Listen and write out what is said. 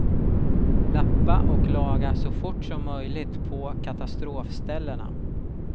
Lappa och laga så fort som möjligt på katastrofställena.